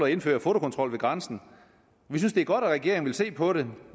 indføre fotokontrol ved grænsen vi synes det er godt at regeringen vil se på det